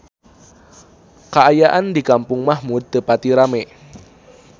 Kaayaan di Kampung Mahmud teu pati rame